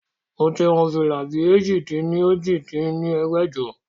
Moti hun fìlà bí èjì-dín-ní-ojì dín ní ẹgbẹ́jọ